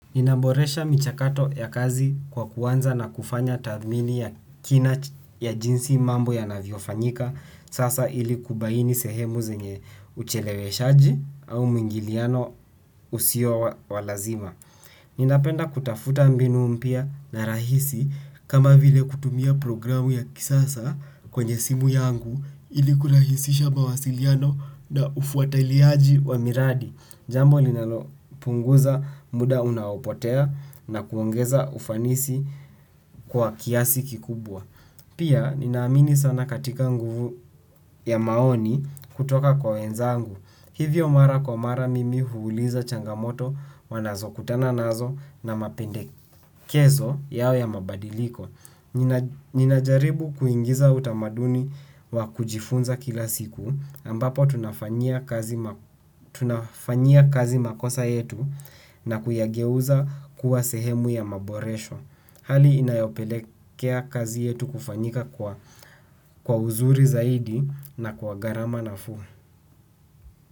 Ninaboresha michakato ya kazi kwa kuanza na kufanya tathmini ya kina ya jinsi mambo yanavyo fanyika. Sasa ili kubaini sehemu zenye ucheleweshaji au mingiliano usio wa lazima. Ninapenda kutafuta mbinu mpya na rahisi kama vile kutumia programu ya kisasa kwenye simu yangu ili kurahisisha mawasiliano na ufuatiliaji wa miradi. Jambo linalo punguza muda unaopotea na kuongeza ufanisi kwa kiasi kikubwa. Pia ninaamini sana katika nguvu ya maoni kutoka kwa wenzangu. Hivyo mara kwa mara mimi huuliza changamoto wanazo kutana nazo na mapendekezo yao ya mabadiliko. Ninajaribu kuingiza utamaduni wa kujifunza kila siku ambapo tunafanyia kazi makosa yetu na kuyageuza kuwa sehemu ya maboresho. Hali inayopelekea kazi yetu kufanyika kwa uzuri zaidi na kwa gharama nafuu.